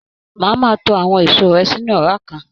Máa ma to àwọn èso rẹ sínú ọra kan.